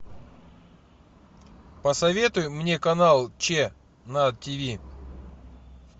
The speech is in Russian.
посоветуй мне канал че на тв